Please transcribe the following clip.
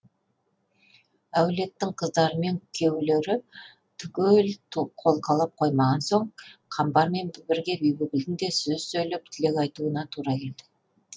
әулеттің қыздары мен күйеулері түгел қолқалап қоймаған соң қамбармен бірге бибігүлдің де сөз сөйлеп тілек айтуына тура келді